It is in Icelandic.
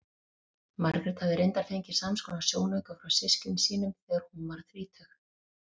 Margrét hafði reyndar fengið samskonar sjónauka frá systkinum sínum þegar hún varð þrítug.